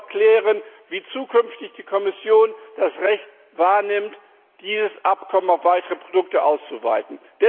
Wir müssen auch klären, wie die Kommission zukünftig das Recht wahrnimmt, dieses Abkommen auf weitere Produkte auszuweiten.